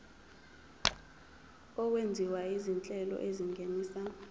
okwenziwa izinhlelo ezingenisa